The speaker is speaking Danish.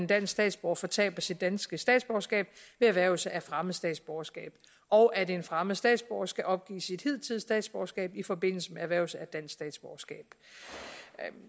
dansk statsborger fortaber sit danske statsborgerskab ved erhvervelse af fremmed statsborgerskab og at en fremmed statsborger skal opgive sit hidtidige statsborgerskab i forbindelse med erhvervelse af dansk statsborgerskab